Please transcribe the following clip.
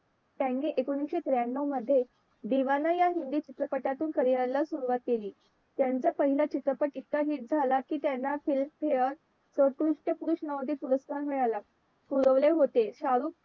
त्यांनी एकोणविशे त्र्यांनव मधे दिवाना या हिंदी चित्रपटातून career ला सुरवात केली त्यांचा पहिला चित्रपट इतका हिट झाला कि त्यांना filmfaire संस्कृत्य नोदी पुरस्कार मिळाला होता.